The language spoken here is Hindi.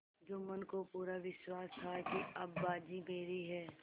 जुम्मन को पूरा विश्वास था कि अब बाजी मेरी है